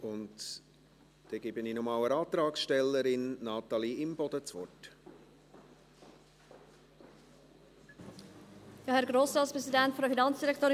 Dann gebe ich noch einmal der Antragstellerin, Natalie Imboden, das Wort.